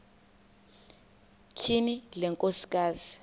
tyhini le nkosikazi